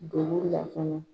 Dolula kɔnɔ.